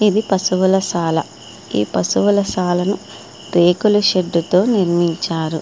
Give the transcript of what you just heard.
ఇది పశువుల సాల పశువుల సాలను రేకుల షెడ్డుతో నిర్మించారు.